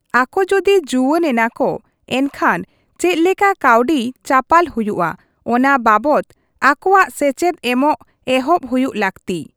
ᱟᱠᱚ ᱡᱩᱫᱤ ᱡᱩᱣᱟᱹᱱ ᱮᱱᱟᱠᱚ, ᱮᱱᱠᱷᱟᱱ ᱪᱮᱫᱞᱮᱠᱟ ᱠᱟᱹᱣᱰᱤ ᱪᱟᱯᱟᱞ ᱦᱩᱭᱩᱜᱼᱟ, ᱚᱱᱟ ᱵᱟᱵᱚᱛ ᱟᱠᱚᱣᱟᱜ ᱥᱮᱪᱮᱫ ᱮᱢᱚᱜ ᱮᱦᱚᱵ ᱦᱩᱭᱩᱜ ᱞᱟᱹᱠᱛᱤ᱾